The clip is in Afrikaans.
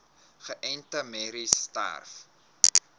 geënte merries selfs